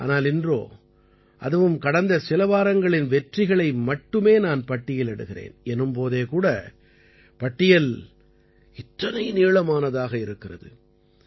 ஆனால் இன்றோ அதுவும் கடந்த சில வாரங்களின் வெற்றிகளை மட்டுமே நான் பட்டியலிடுகிறேன் எனும் போதே கூட பட்டியல் இத்தனை நீளமானதாக இருக்கிறது